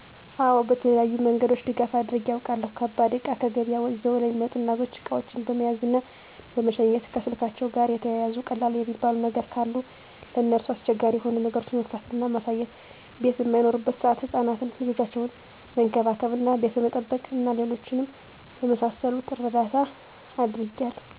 አወ በተለያዩ መንገደኞች ድጋፍ አድርጌ አውቃለሁ። ከባድ እቃ ከገበያ ይዘው ለሚመጡ እናቶች እቃዎችን በመያዝ እና በመሸኘት፣ ከስልካቸዉ ጋር የተያያዙ ቀላል የሚባሉ ነገር ግን ለነርሱ አስቸጋሪ የሆኑ ነገሮችን መፍታት እና ማሳየት፣ ቤት በማይኖሩበት ሰአት ህፃናትን ልጆቻቸውን መንከባከብ እና ቤት በመጠበቅ እና ሌሎችም በመሳሰሉት እርዳታ አድርጌያለሁ።